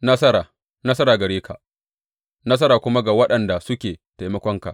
Nasara, nasara gare ka, nasara kuma ga waɗanda suke taimakonka.